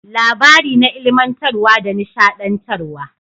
Labari na ilimantarwa da nishadantarwa.